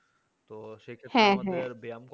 তো সেই ক্ষেত্রে আমাদের ব্যায়াম